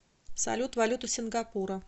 салют валюта сингапура